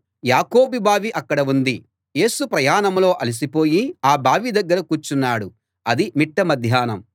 యాకోబు బావి అక్కడ ఉంది యేసు ప్రయాణంలో అలిసిపోయి ఆ బావి దగ్గర కూర్చున్నాడు అది మిట్ట మధ్యాహ్నం